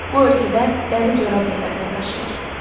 Bu ölkədə dəri corab ləqəbini daşıyır.